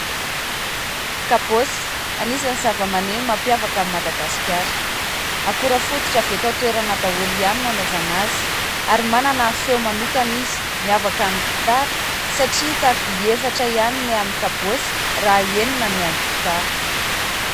Kabôsy, anisan'ny zavamaneno mampiava an'i Madagasikara. Akora fototra avy eto an-toerana daholo ihany ny anaovana azy, ary manana feo manokana izy miavaka amin'ny gitara satria taroby efatra ihany ny amin'ny kabôsy raha enina ny an'ny gitara.